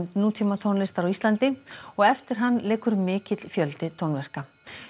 nútímatónlistar á Íslandi og eftir hann liggur mikill fjöldi tónverka